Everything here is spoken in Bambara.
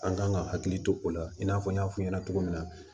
An kan ka hakili to o la i n'a fɔ n y'a fɔ ɲɛna cogo min na